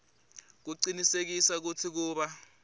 kucinisekisa kutsi kuba